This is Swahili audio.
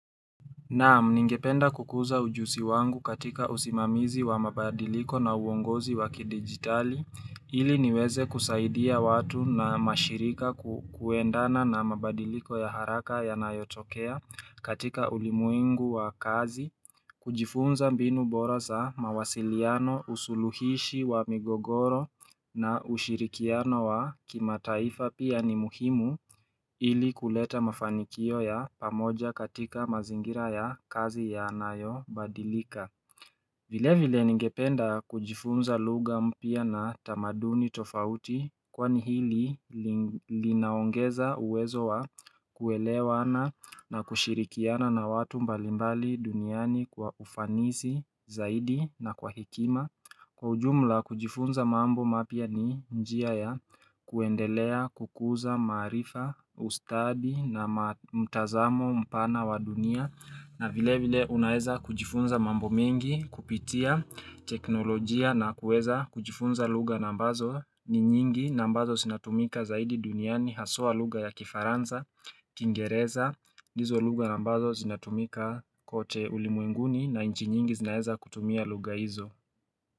Na'am ningependa kukuza ujuzi wangu katika usimamizi wa mabadiliko na uongozi wa kidigitali, ili niweze kusaidia watu na mashirika kuendana na mabadiliko ya haraka yanayotokea katika ulimwengu wa kazi, kujifunza mbinu bora za mawasiliano usuluhishi wa migogoro na ushirikiano wa kima taifa pia ni muhimu ili kuleta mafanikio ya pamoja katika mazingira ya kazi yaanayo badilika vile vile ningependa kujifunza lugha mpya na tamaduni tofauti kwani hili linaongeza uwezo wa kuelewana na kushirikiana na watu mbalimbali duniani kwa ufanisi, zaidi na kwa hekima. Kwa ujumla kujifunza mambo mapya ni njia ya kuendelea, kukuza, maarifa, ustadi na mtazamo mpana wa dunia. Na vile vile unaweza kujifunza mambo mengi kupitia teknolojia na kuweza kujifunza lugha nambazo ni nyingi na ambazo zinatumika zaidi duniani haswa lugha ya kifaransa. Kiingereza, ndizo lugha ambazo zinatumika kote ulimwenguni na inchi nyingi zinaeza kutumia lugha hizo.